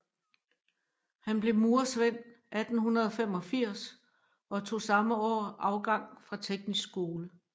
Han blev murersvend 1885 og tog samme år afgang fra Teknisk Skole